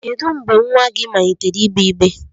Kedu mgbe nwa gị malitere igbe-igbe?